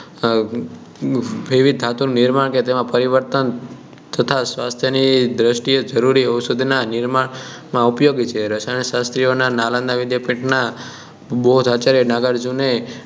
અમ એવી ધાતુ નિર્માણ કે જેમાં પરિવર્તન તથા સ્વાસ્થ્ય ની દ્રષ્ટિ એ જરૂરી અવશોધના નિર્માણ માં ઉપયોગી છે રસાયણ શાસ્ત્રીઓ નાલંદા વિષયપીઠ નાં બૌદ્ધ આચાર્ય નાગાર્જુને